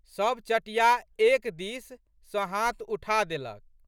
सब चटिया एक दिस सँ हाथ उठा देलक।